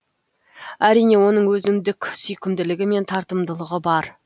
әрине оның өзіндік сүйкімділігі мен тартымдылығы бар